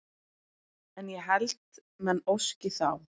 En ég held menn óski þá